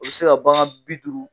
o bɛ se ka bagan bi duuru